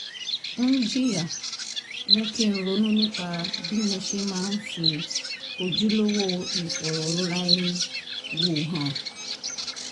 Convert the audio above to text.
ń jìyà mú kí n ronú nípa bí mo ṣe máa ń fi ojúlówó ìfọ̀rọ̀rora-ẹni-wò hàn